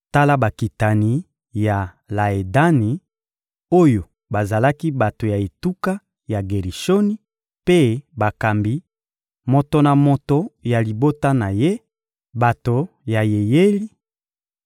Tala bakitani ya Laedani, oyo bazalaki bato ya etuka ya Gerishoni mpe bakambi, moto na moto ya libota na ye: bato ya Yeyeli;